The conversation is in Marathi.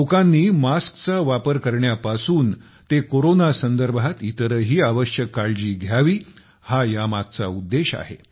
लोकांनी मास्कचा वापर करण्यापासून ते कोरोना संदर्भात इतरही आवश्यक काळजी घ्यावी हा यामागचा उद्देश आहे